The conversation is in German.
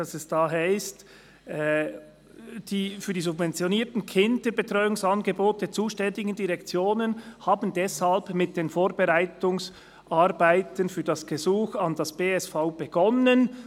«Die für die subventionierten Kinderbetreuungsangebote zuständigen Direktionen haben deshalb mit den Vorbereitungsarbeiten für das Gesuch an das BSV [Bundesamt für Sozialversicherungen] begonnen.